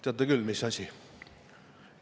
Teate küll mis asi.